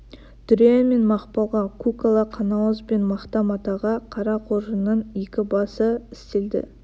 дүрия мен мақпалға көк ала қанауыз бен мақта матаға қара қоржынның екі басы істелді